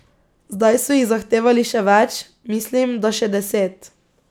Zdaj so jih zahtevali še več, mislim, da še deset.